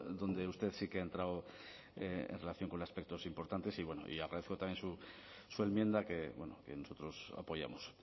donde usted sí que ha entrado en relación con aspectos importantes y bueno y agradezco también su enmienda que nosotros apoyamos